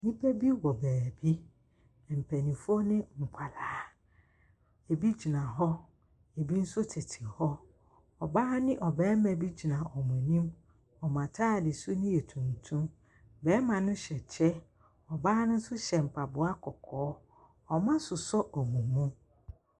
Nnipa bi wɔ baabi. Mpanimfoɔ ne nkwadaa. Ebi gyina hɔ, ebi nso tete hɔ. Ɔbaa ne ɔbarima gyina wɔn anim. Wɔn atadesu no yɛ tuntum. Barima no hyɛ kyɛ, ɔbaa no nso kyɛ mpaboa kɔkɔɔ. Wɔasosɔ wɔn mu.